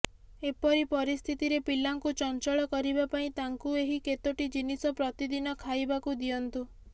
ଏପରି ପରିସ୍ଥିତିରେ ପିଲାଙ୍କୁ ଚଞ୍ଚଳ କରିବା ପାଇଁ ତାଙ୍କୁ ଏହି କେତୋଟି ଜିନିଷ ପ୍ରତିଦିନ ଖାଇବାକୁ ଦିଅନ୍ତୁ